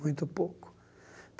Muito pouco.